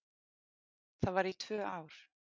Það var í tvö ár.